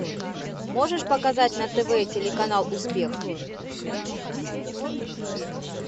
можешь показать на тв телеканал успех